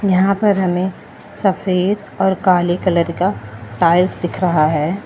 यहां पर हमें सफेद और काले कलर का टाइल्स दिख रहा है।